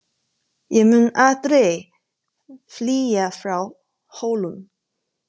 Ég mun aldrei flýja frá Hólum!